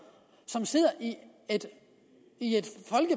som sidder i et